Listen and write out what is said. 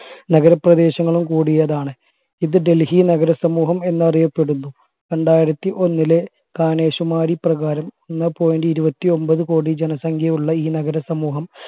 നഗരപ്രദേശങ്ങളും കൂടിയതാണ് ഇത് ഡൽഹി നഗരസമൂഹം എന്നറിയപ്പെടുന്നു രണ്ടായിരത്തി ഒന്നിലെ കാനേഷുമാരി പ്രകാരം ഒന്നേ point ഇരുപത്തി ഒമ്പത് കോടി ജനസംഖ്യയുള്ള ഈ നഗര സമൂഹം